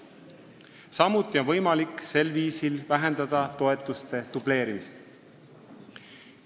Samuti on võimalik sel viisil vähendada toetuste dubleerimist.